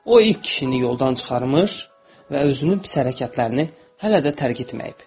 O ilk kişini yoldan çıxarmış və özünü pis hərəkətlərini hələ də tərk etməyib.